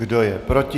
Kdo je proti?